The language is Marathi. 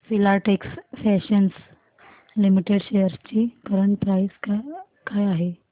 फिलाटेक्स फॅशन्स लिमिटेड शेअर्स ची करंट प्राइस काय आहे